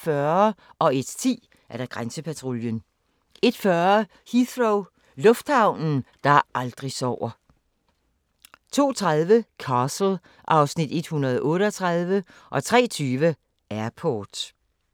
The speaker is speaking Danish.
01:10: Grænsepatruljen 01:40: Heathrow – lufthavnen, der aldrig sover 02:30: Castle (Afs. 138) 03:20: Airport